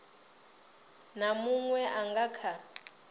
na munwe a nga kha